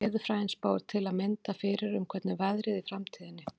Veðurfræðin spáir til að mynda fyrir um hvernig veðrið verði í framtíðinni.